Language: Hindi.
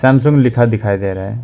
सैमसंग लिखा दिखाई दे रहा है।